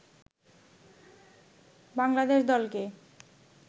বাংলাদেশ দলকে